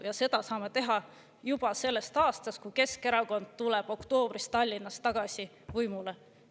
Seda saame teha juba selle aasta oktoobrist, kui Keskerakond tuleb Tallinnas tagasi võimule.